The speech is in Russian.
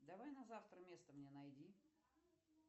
давай на завтра место мне найди